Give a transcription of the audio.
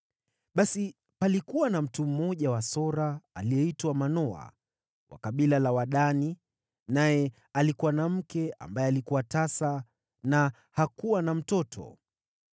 Basi palikuwa na mtu mmoja wa Sora, aliyeitwa Manoa, wa kabila la Wadani, naye alikuwa na mke ambaye alikuwa tasa na hakuwa na mtoto.